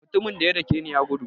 Mutumin daya dake ni ya gudu.